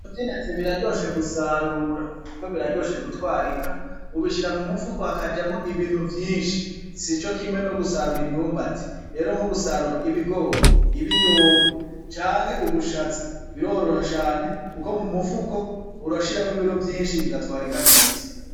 Mo vyenetse biraryoshe gusarura, kuko biraryoshe gutwarika ubishira mu mufuko hakajamwo ibintu vyinshi si co kimwe no gusarura imyumba ati ero nko gusarura ibigori ibiyoba canke ubushaza biroroha shane, kuko mu mufuko urashiramwo ibiro vyinshi bigatwarika neza.